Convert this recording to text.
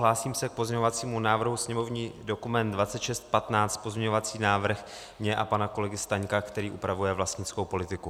Hlásím se k pozměňovacímu návrhu sněmovní dokument 2615, pozměňovací návrh můj a pana kolegy Staňka, který upravuje vlastnickou politiku.